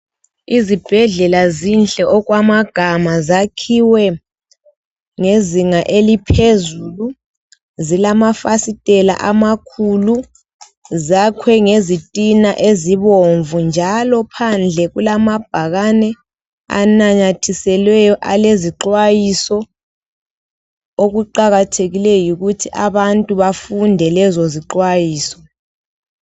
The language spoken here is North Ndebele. Izibhedlela zinhle kakhulu okwamagama zakhiwe ngezinga eliphezulu zilamafastela amakhulu zakhiwe ngezitina ezibomvu njalo phandle kulamabhani anamathisweleyo alezixhwayiso okuqakathekileyo yikuthi abantu befunde lezo zixhwayiso